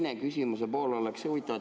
Aga küsimuse teine pool on huvitav.